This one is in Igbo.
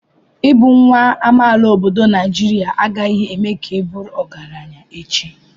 Ịbụ nwa amaala obodo Naijiria agaghị eme ka ị bụrụ ọgaranya echi.